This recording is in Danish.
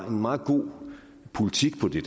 en meget god politik på det